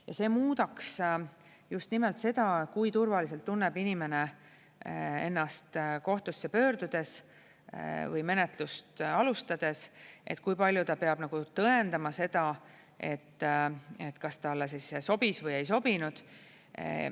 Ja see muudaks just nimelt seda, kui turvaliselt tunneb inimene ennast kohtusse pöördudes või menetlust alustades, et kui palju ta peab tõendama seda, kas talle sobis või ei sobinud.